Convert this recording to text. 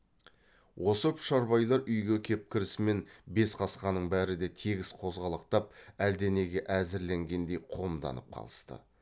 осы пұшарбайлар үйге кеп кірісімен бес қасқаның бәрі де тегіс қозғалақтап әлденеге әзірленгендей қомданып қалысты